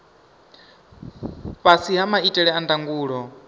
fhasi ha maitele a ndangulo